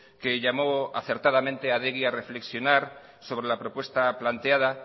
que llamó acertadamente a adegi a reflexionar sobre la propuesta planteada